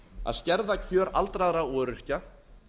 að skerða kjör aldraðra og öryrkja